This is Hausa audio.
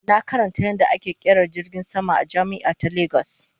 Na karanta yadda ana kera jirgin sama a jami'a ta Lagos